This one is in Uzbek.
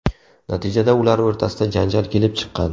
Natijada ular o‘rtasida janjal kelib chiqqan.